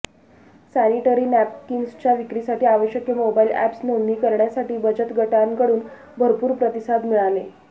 sanitary नॅपकिन्सच्या विक्रीसाठी आवश्यक मोबाईल एप्स नोंदणी करण्यासाठी बचत गटांकडून भरपूर प्रतिसाद मिळाले